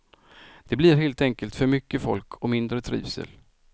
Det blir helt enkelt för mycket folk och mindre trivsel.